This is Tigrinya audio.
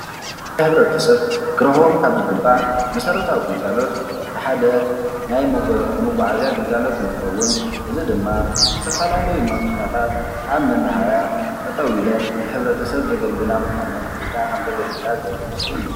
ሕብረተሰብ ክረክቦም ካብ ዝግባእ መሰረታዊ ግልጋሎት እቲሓደ ናይ መጓዓዝያ ግልጋሎት እንትከውን እዚ ድማ ዝተፈላለዩ መኪናታት ኣብ መናሃርያ ጠጠው ኢለን ንሕብረተሰብ ዘገልግላ ምኳነን ወይ ካዓ ከም ዘገልግላ ዘርኢ ምስሊ እዩ።